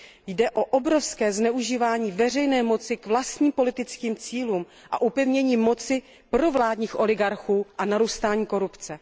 Jde o obrovské zneužívání veřejné moci k vlastním politickým cílům a upevnění moci provládních oligarchů a narůstání korupce.